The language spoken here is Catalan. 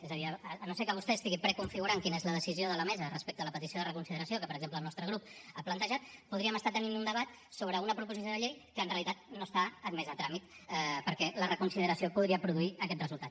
és a dir si no és que vostè estigui preconfigurant quina és la decisió de la mesa respecte a la petició de reconsideració que per exemple el nostre grup ha plantejat podríem estar tenint un debat sobre una proposició de llei que en realitat no està admesa a tràmit perquè la reconsideració podria produir aquest resultat